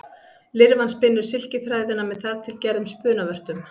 Lirfan spinnur silkiþræðina með þar til gerðum spunavörtum.